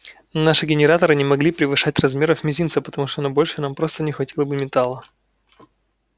наши генераторы не могли превышать размеров мизинца потому что на большее нам просто не хватило бы металла